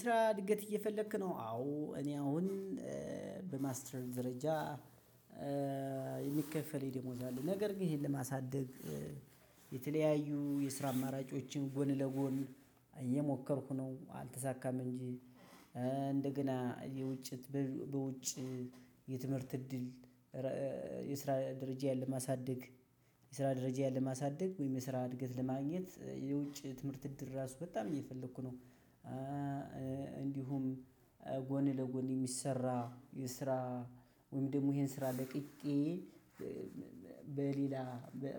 ስራ እድገት እየፈለክ ነው አዎ እኔ አሁን በማስተር ደረጃ የሚከፈል የደሞዝ አለ ነገር ግን ይሄን ለማሳደግ የተለያዩ የስራ አማራጮችን ጎን ለጎን እየሞከርኩ ነው። አልተሳካም እንጂ እንደገና የውጭ የትምህርት እድል የስራ ደረጃየን ለማሳደግ የስራው ወይም እድገት ለማግኘት የውጭ ትምህርት እድር ራሱ በጣም እየፈለጉህ ነው። እንዲሁም ጎን ለጎን ሚሰራ የስራ ወይም ደግሞ እሂን ስራ ለቅቄ በሌላ